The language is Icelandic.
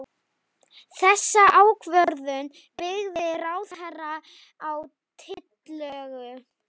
Þessa ákvörðun byggði ráðherra á tillögu